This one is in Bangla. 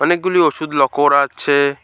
অনেকগুলি ওষুধ লক্ষ্য করা যাচ্ছে।